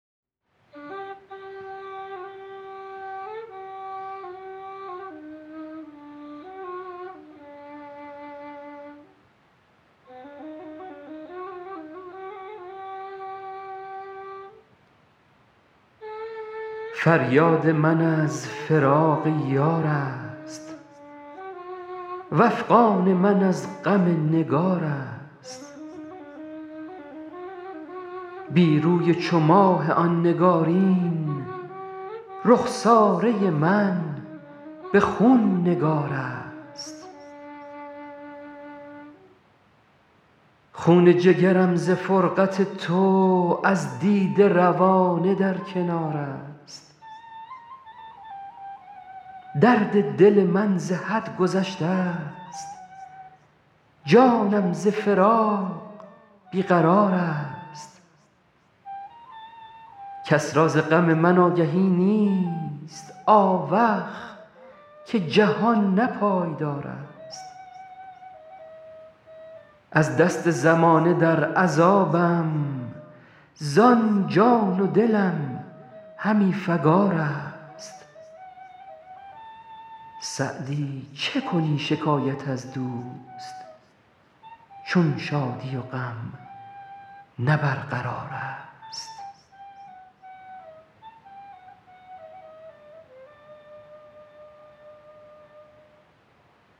فریاد من از فراق یار است وافغان من از غم نگار است بی روی چو ماه آن نگارین رخساره من به خون نگار است خون جگرم ز فرقت تو از دیده روانه در کنار است درد دل من ز حد گذشته ست جانم ز فراق بی قرار است کس را ز غم من آگهی نیست آوخ که جهان نه پایدار است از دست زمانه در عذابم زان جان و دلم همی فکار است سعدی چه کنی شکایت از دوست چون شادی و غم نه برقرار است